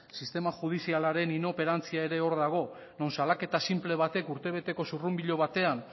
sistema judizialaren inoperantzia era hor dago non salaketa sinple urtebeteko zurrunbilo batean